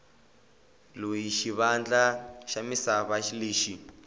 loyi xivandla xa misava lexi